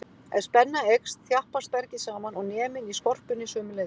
Ef spenna eykst, þjappast bergið saman og neminn í skorpunni sömuleiðis.